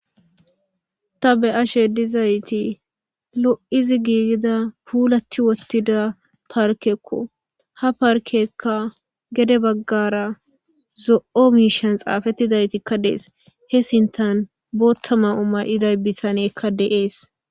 ta be7ashe dizayti lo7izi giigida puulati wottida parkekko ha parkekka gede baggara zo7o miishan xaafettidaytikka dees he sintan boottama u may7iday bitaneekka deees